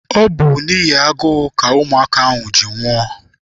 Ọ bụ n'ihi agụụ ka ụmụaka ahụ ji nwụọ.